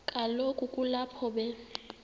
kaloku kulapho be